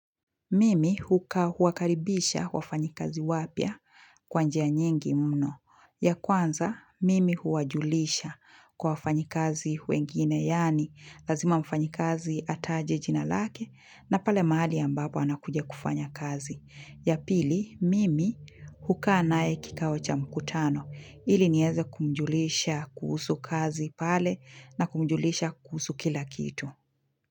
Mimi huka huwakaribisha wafanyikazi wapia kwa njia nyingi mno. Ya kwanza, mimi huwajulisha kwa wafanyi kazi wengine yaani lazima mfanyi kazi ataje jina lake na pale mahali ambapo anakuja kufanya kazi. Ya pili, mimi hukaa naye kikao cha mkutano ili nieze kumjulisha kuhusu kazi pale na kumjulisha kuhusu kila kitu.